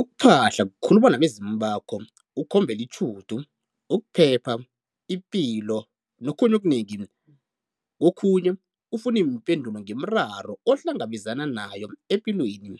Ukuphahla kukhuluma nabezimu bakho, ukhombele itjhudu, ukuphepha, ipilo nokhunye okunengi, kokhunye ufune iimpendulo ngemiraro ohlangabezana nayo epilweni.